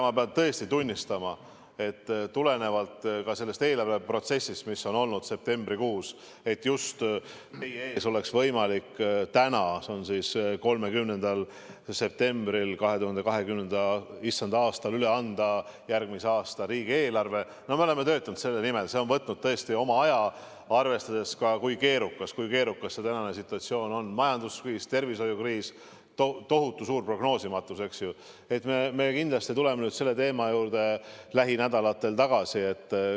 Ma pean tõesti tunnistama – tulenevalt ka sellest eelarveprotsessist, mis on olnud septembrikuus, et teie ees oleks võimalik täna, 30. septembril issanda aastal 2020 üle anda järgmise aasta riigieelarve, me oleme töötanud selle nimel, see on võtnud oma aja, arvestades ka seda, kui keerukas on tänane situatsioon –, et me kindlasti tuleme selle teema juurde lähinädalatel tagasi.